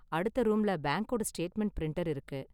அடுத்த ரூம்ல பேங்க்கோட ஸ்டேட்மெண்ட் பிரிண்டர் இருக்கு.